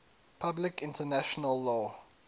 public international law